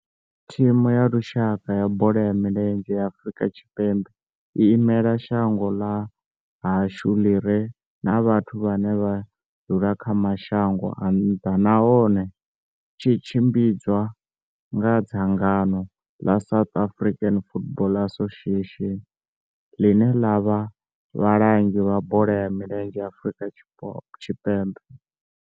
Thimu ya lushaka ya bola ya milenzhe ya Afrika Tshipembe i imela shango ḽa hashu ḽi re na vhathu vhane vha dzula kha mashango a nnḓa nahone tshi tshimbidzwa nga dzangano la South African Football Association, line la vha vhalangi vha bola ya milenzhe Afrika Tshipembe.